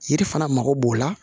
Yiri fana mago b'o la